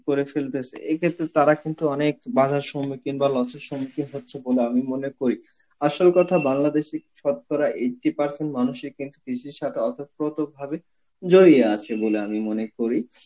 করে ফেলতেছে, এই ক্ষেত্রে তারা কিন্তু অনেক বাঁধার সম্মুখীন বলো সম্মুখীন হচ্ছে বলে আমি মনে করি. আসল কথা Bangladesh ই ছতরা eighty percent মানুষই কিন্তু কৃষি শাখা অতপ্রতভাবে জড়িয়ে আছে বলে আমি মনে করি.